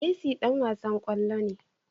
Messi Dan wasan kwallo ne